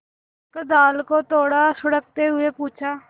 लेकर दाल को थोड़ा सुड़कते हुए पूछा